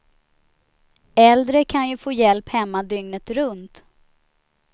Äldre kan ju få hjälp hemma dygnet runt.